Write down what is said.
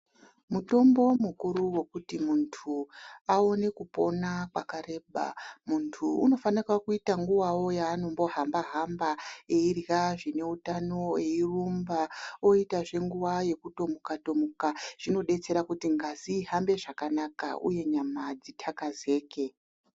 Mutombo mukuru wokuti muntu aone kupona kwakareba. Muntu unofanika kuita nguvawo yaanombohamba-hamba eirya zvineutano eirumba, oitazve nguva yekutomuka-tomuka. Zvinodetsera kuti ngazi ihambe zvakanaka uye nyama dzitakazike.